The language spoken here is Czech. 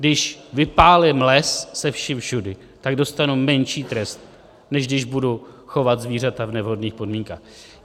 Když vypálím les se vším všudy, tak dostanu menší trest, než když budu chovat zvířata v nevhodných podmínkách.